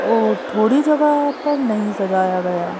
और थोड़ी जगह पर नहीं सजाया गया।